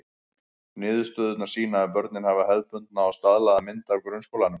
Niðurstöðurnar sýna að börnin hafa hefðbundna og staðlaða mynd af grunnskólanum.